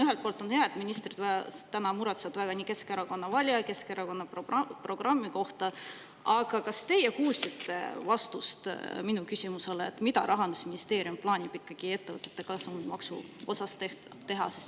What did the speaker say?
Ühelt poolt on hea, et ministrid täna muretsevad väga Keskerakonna valijate ja Keskerakonna programmi pärast, aga kas teie kuulsite vastust minu küsimusele, mida Rahandusministeerium plaanib ikkagi ettevõtete kasumimaksu osas teha?